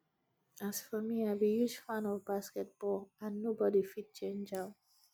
as for me i be huge fan of basket ball and nobody go fit change am